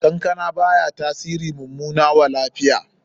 Kankana baya tasiri mummana wa lafiya.